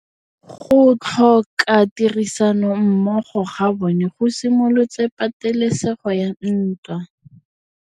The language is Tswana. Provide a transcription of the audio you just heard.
Go tlhoka tirsanommogo ga bone go simolotse patêlêsêgô ya ntwa.